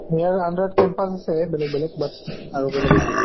সেই আৰু under ত campus আছে বেলেগ বেলেগ but আৰু বেলেগ একো নাই।